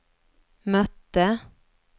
mötte